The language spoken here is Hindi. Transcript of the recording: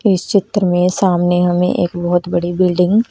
इस चित्र में सामने हमें एक बहुत बड़ी बिल्डिंग --